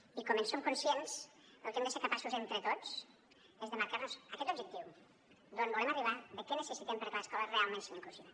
i com en som conscients el que hem de ser capaços entre tots és de marcar nos aquest objectiu d’on volem arribar de què necessitem perquè l’escola realment sigui inclusiva